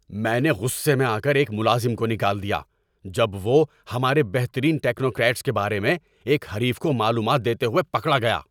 میں نے غصے میں آ کر ایک ملازم کو نکال دیا جب وہ ہمارے بہترین ٹیکنوکریٹس کے بارے میں ایک حریف کو معلومات دیتے ہوئے پکڑا گیا۔